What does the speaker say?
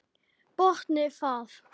Botnið það!